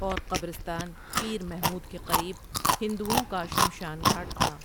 اورقبرستان پیر محمود کے قریب ہندوٶں کا شمشان گھاٹ تھا ۔